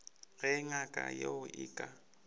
ge ngaka yeo e ka